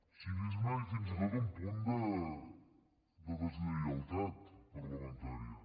cinisme i fins i tot un punt de deslleialtat parlamentària